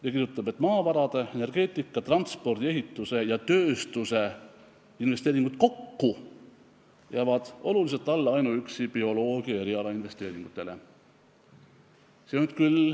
Ta kirjutas, et maavarade, energeetika, transpordi, ehituse ja tööstuse investeeringud kokku jäävad oluliselt alla ainuüksi bioloogiasse tehtud investeeringutele.